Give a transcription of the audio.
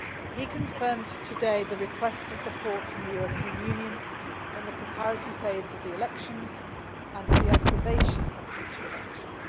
He confirmed today the request for support from the EU in the preparatory phase of the elections and in the observation of future elections.